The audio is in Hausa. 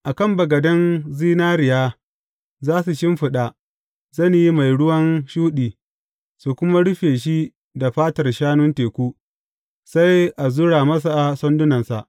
A kan bagaden zinariya, za su shimfiɗa zane mai ruwan shuɗi, su kuma rufe shi da fatar shanun teku, sai a zura masa sandunansa.